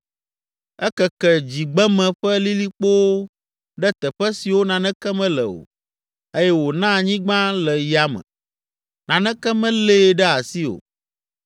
Ekeke dzigbeme ƒe lilikpowo ɖe teƒe siwo naneke mele o eye wòna anyigba le yame, naneke melée ɖe asi o.